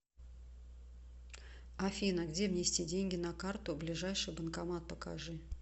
афина где внести деньги на карту ближайший банкомат покажи